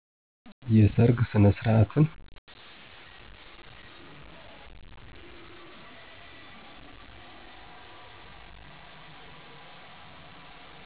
የሰርግ ስነስርዓትን